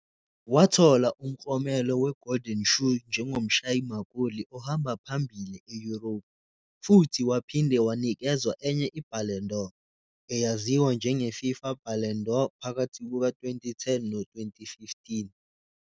Wathola umklomelo weGolden Shoe njengomshayi magoli ohamba phambili e-Europe, futhi waphinde wanikezwa enye iBallon d'Or, eyaziwa njengeFIFA Ballon d'Or phakathi kuka-2010 no-2015.